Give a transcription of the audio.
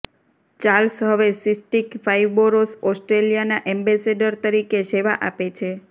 Charles હવે cystic fibrosis ઑસ્ટ્રેલિયાના ambassador તરીકે સેવા આપે છે